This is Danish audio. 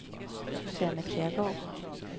Susanne Kjærgaard